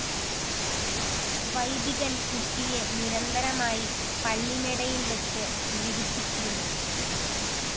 വൈദികന്‍ കുട്ടിയെ നിരന്തരമായി പള്ളിമേടയില്‍ വെച്ച് പീഡിപ്പിച്ചിരുന്നു